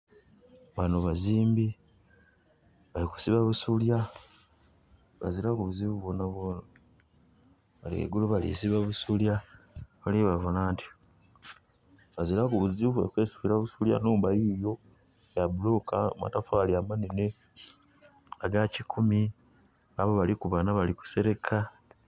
Bano bazimbi bali ku siba busolya bazilaku buzibu bwona bwona bali gheigulu bali siba busolya. Oli babona anti. Bazilaku buzibu bali kwesibira busolya. Nhumba yiyo ya buloka, amatofali amanene, aga kikumi babo baliku bana balikusereka